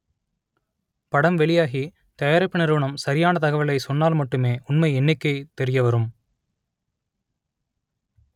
படம் வெளியாகி தயா‌ரிப்பு நிறுவனம் ச‌ரியான தகவலை சொன்னால் மட்டுமே உண்மை எண்ணிக்கை தெ‌ரியவரும்